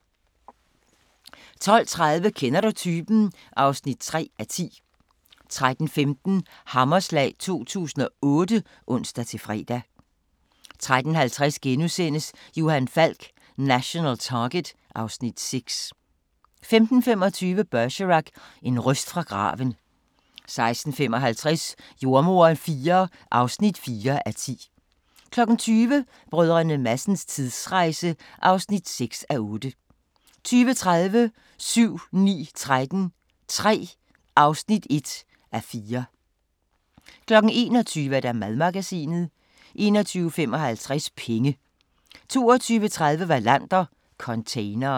12:30: Kender du typen? (3:10) 13:15: Hammerslag 2008 (ons-fre) 13:50: Johan Falk: National Target (Afs. 6)* 15:25: Bergerac: En røst fra graven 16:55: Jordemoderen IV (4:10) 20:00: Brdr. Madsens tidsrejse (6:8) 20:30: 7-9-13 III (1:4) 21:00: Madmagasinet 21:55: Penge 22:30: Wallander: Containeren